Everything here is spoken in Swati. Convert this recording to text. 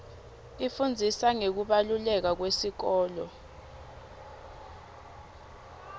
ifundzisa ngekubaluleka kwesikolo